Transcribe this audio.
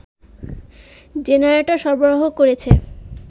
generator সরবরাহ করেছে